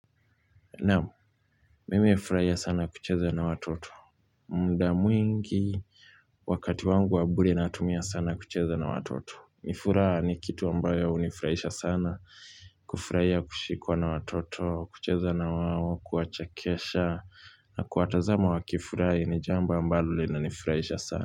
Naamu, mimi hufuraia sana kucheza na watoto muda mwingi, wakati wangu wa bure natumia sana kucheza na watoto ni furaha ni kitu ambayo unifuraisha sana kufuraia kushikwa na watoto, kucheza na wao, kuwachekesha na kuwatazama wakifurahi ni jambo ambalo linanifuraisha sana.